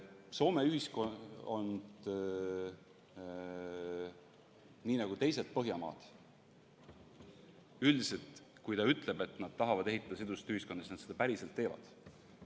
Soomes nii nagu teistes Põhjamaades on üldiselt nii, et kui nad ütlevad, et nad tahavad ehitada sidusat ühiskonda, siis nad seda päriselt teevad.